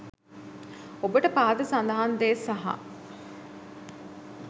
ඔබට පහත සඳහන් දේ සහ